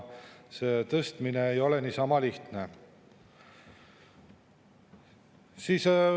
Ega see tõstmine ei ole niisama lihtne.